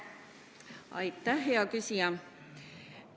Aitäh, hea küsija!